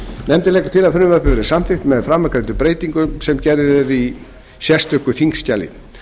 nefndin leggur til að frumvarpið verði samþykkt með framangreindum breytingum sem gerð er tillaga um í sérstöku þingskjali